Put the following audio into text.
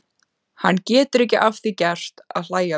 Hann getur ekki að því gert að hlæja við.